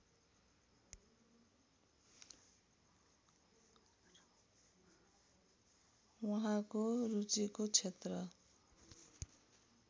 उहाँको रुचिको क्षेत्र